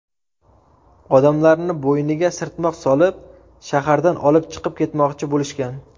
Odamlarni bo‘yniga sirtmoq solib, shahardan olib chiqib ketmoqchi bo‘lishgan.